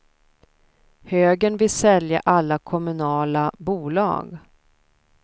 Högern vill sälja alla kommunala bolag.